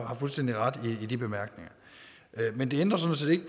har fuldstændig ret i de bemærkninger men det ændrer sådan set